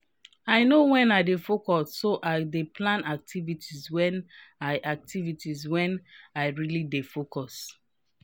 i know wen i dey focus so i dey plan activities wen i activities wen i really dey focus.